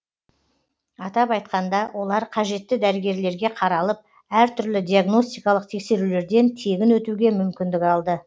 атап айтқанда олар қажетті дәрігерлерге қаралып әр түрлі диагностикалық тексерулерден тегін өтуге мүмкіндік алды